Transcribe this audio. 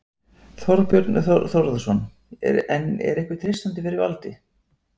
Þorbjörn Þórðarson: En er ykkur treystandi fyrir valdi?